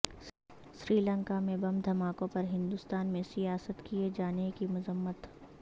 سری لنکا میں بم دھماکوں پر ہندوستان میں سیاست کئے جانے کی مذمت